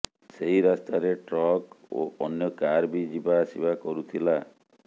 ସେହି ରାସ୍ତାରେ ଟ୍ରକ୍ ଓ ଅନ୍ୟ କାର ବି ଯିବା ଆସିବା କରୁଥିଲା